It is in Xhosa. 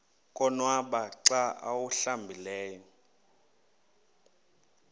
konwaba xa awuhlambileyo